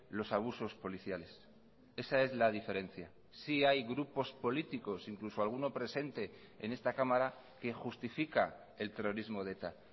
los abusos policiales esa es la diferencia sí hay grupos políticos incluso alguno presente en esta cámara que justifica el terrorismo de eta